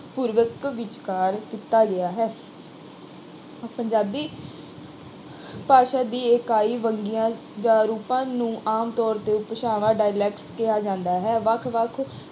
ਪੂਰਵਕ ਵਿਚਕਾਰ ਕੀਤਾ ਗਿਆ ਹੈ ਪੰਜਾਬੀ ਭਾਸ਼ਾ ਦੀ ਇਕਾਈ ਵੰਨਗੀਆਂ, ਜਾਂ ਰੂਪਾਂ ਨੂੰ ਆਮ ਤੌਰ ਤੇ ਉਪਭਾਸ਼ਾਵਾਂ dialects ਕਿਹਾ ਜਾਂਦਾ ਹੈ ਵੱਖ ਵੱਖ